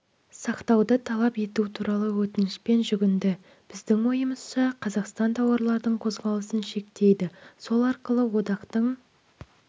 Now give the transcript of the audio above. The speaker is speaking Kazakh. сақтауды талап ету туралы өтінішпен жүгінді біздің ойымызша қазақстан тауарлардың қозғалысын шектейді сол арқылы одақтың